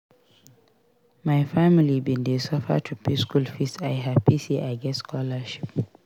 My family bin dey suffer to pay skool fees I hapi sey I get scholarship.